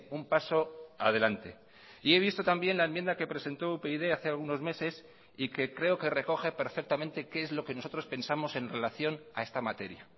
un paso adelante y he visto también la enmienda que presentó upyd hace algunos meses y que creo que recoge perfectamente qué es lo que nosotros pensamos en relación a esta materia